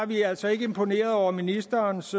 vi er altså ikke imponeret over ministerens